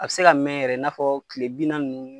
A be se ka mɛn yɛrɛ i n'a fɔ kile bi naani nunnu